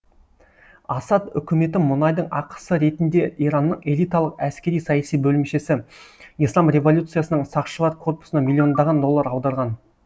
асад үкіметі мұнайдың ақысы ретінде иранның элиталық әскери саяси бөлімшесі ислам революциясының сақшылар корпусына миллиондаған доллар аударған